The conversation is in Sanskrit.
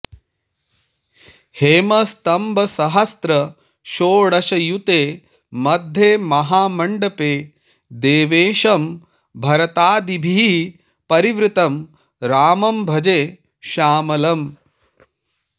हेमस्तम्भसहस्रषोडशयुते मध्ये महामण्डपे देवेशं भरतादिभिः परिवृतं रामं भजे श्यामलम्